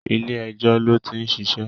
Ilé ẹjọ́ ló ti ń ṣiṣẹ́